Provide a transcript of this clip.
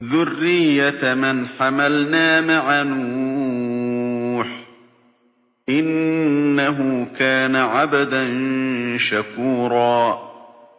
ذُرِّيَّةَ مَنْ حَمَلْنَا مَعَ نُوحٍ ۚ إِنَّهُ كَانَ عَبْدًا شَكُورًا